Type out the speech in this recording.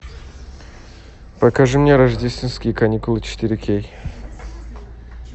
покажи мне рождественские каникулы четыре кей